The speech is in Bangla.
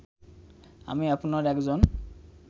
আমি আপনার একজন